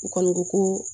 U kɔni ko ko